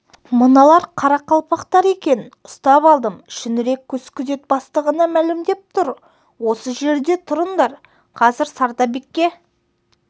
мыналар қарақалпақтар екен ұстап алдым шүңірек көз күзет бастығына мәлімдеп тұр осы жерде тұрыңдар қазір сардарбекке